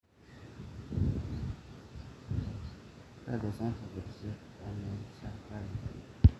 kakua irbulabol lena moyian e Anencephaly?